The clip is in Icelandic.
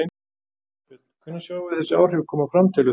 Þorbjörn: Hvenær sjáum við þessi áhrif koma fram telur þú?